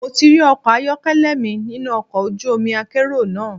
Mo ti rí ọkọ̀ ayọ́kẹ́lẹ́ mi nínú ọkọ̀ ojú omi akérò náà.